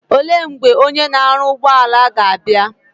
Ole mgbe Onye na aru ugboala ga abia?